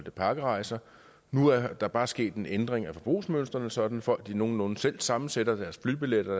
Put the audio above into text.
af pakkerejser nu er der bare sket en ændring i forbrugsmønsteret sådan at folk nogenlunde selv sammensætter deres flybilletter og